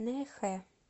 нэхэ